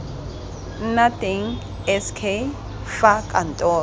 nna teng sk fa kantoro